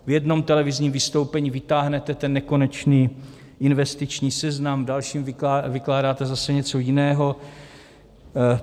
V jednom televizním vystoupení vytáhnete ten nekonečný investiční seznam, v dalším vykládáte zase něco jiného.